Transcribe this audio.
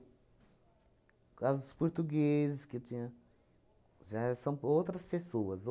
causa dos portugueses que tinha, já são outras pessoas.